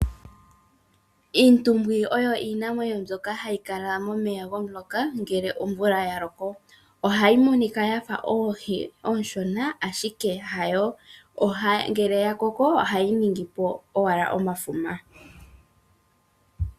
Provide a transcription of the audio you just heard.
Iintumbwi oyo iinamwenyo mbyoka hayi kala momeya gwomu loka ngele omvula yaloko. Ohayi monika yafa oohi ooshona ashike hayo. Ngele ya koko ohayi ningipo owala omafuma.